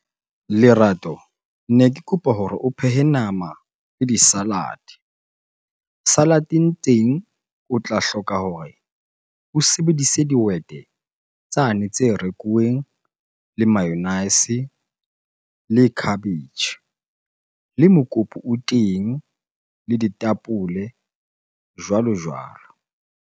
Lerato ne ke kopa hore o phehe nama le di-salad. Salad-eng teng o tla hloka hore o sebedise dihwete tsane tse rekuweng le mayonnaise, le cabbage, le mokopu o teng le ditapole, jwalo-jwalo.